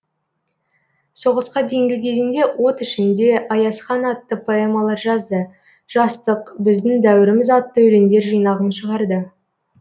соғысқа дейінгі кезеңде от ішінде аязхан атты поэмалар жазды жастық біздің дәуіріміз атты өлеңдер жинағын шығарды